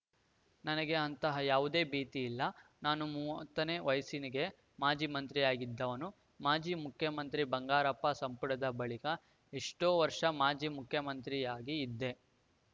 ನನಗೆ ಅಂತಹ ಯಾವುದೇ ಭೀತಿಯಿಲ್ಲ ನಾನು ಮೂವತ್ತನೇ ವಯಸ್ಸಿನಿಗೆ ಮಾಜಿ ಮಂತ್ರಿಯಾಗಿದ್ದವನು ಮಾಜಿ ಮುಖ್ಯಮಂತ್ರಿ ಬಂಗಾರಪ್ಪ ಸಂಪುಟದ ಬಳಿಕ ಎಷ್ಟೋ ವರ್ಷ ಮಾಜಿ ಮಂತ್ರಿಯಾಗಿಯೇ ಇದ್ದೆ